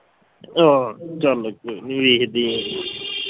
ਆਹ ਚਲ ਵੇਖਦੇ ਹਾਂ